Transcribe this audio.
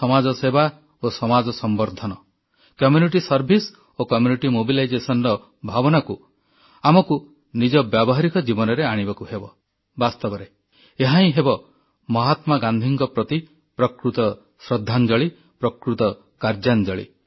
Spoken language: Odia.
ସମାଜସେବା ଓ ସମାଜ ସମ୍ବର୍ଦ୍ଧନ କମ୍ୟୁନିଟି ସର୍ଭିସ୍ ଓ କମ୍ୟୁନିଟି ମୋବିଲାଇଜେସନର ଭାବନାକୁ ଆମକୁ ନିଜ ବ୍ୟବହାରିକ ଜୀବନରେ ଆଣିବାକୁ ହେବ ବାସ୍ତବରେ ଏହାହିଁ ହେବ ମହାତ୍ମା ଗାନ୍ଧୀଙ୍କ ପ୍ରତି ପ୍ରକୃତ ଶ୍ରଦ୍ଧାଞ୍ଜଳି ପ୍ରକୃତ କାର୍ଯ୍ୟାଞ୍ଜଳି